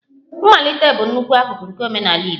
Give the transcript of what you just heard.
Mmalite bụ nnukwu akụkụ nke omenala Igbo